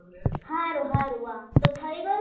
હારું હારું વા તો થઇ ગયું